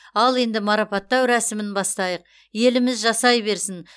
ал енді марапаттау рәсімін бастайық еліміз жасай берсін